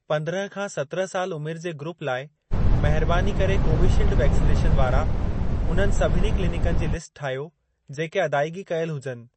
पंद्रहं खां सत्रहं साल उमिर जे ग्रूप लाइ, महिरबानी करे कोवीशील्ड वैक्सनेशन वारा उन्हनि सभिनी क्लिनिकनि जी लिस्ट ठाहियो, जेके अदाइग़ी कयल हुजनि।